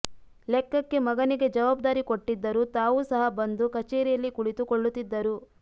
ಲೆಕ್ಕಕ್ಕೆ ಮಗನಿಗೆ ಜವಾಬ್ದಾರಿ ಕೊಟ್ಟಿದ್ದರೂ ತಾವೂ ಸಹ ಬಂದು ಕಚೇರಿಯಲ್ಲಿ ಕುಳಿತು ಕೊಳ್ಳುತ್ತಿದ್ದರು